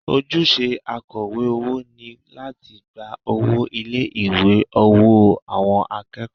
Ojúṣe akọ̀wé owó ni láti gba owó ilé ìwé ní ọwọ́ àwọn akẹ́kọ̀ọ́